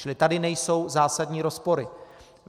Čili tady nejsou zásadní rozpory.